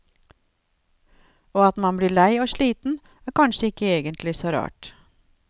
Og at man blir lei og sliten, er kanskje ikke egentlig så rart.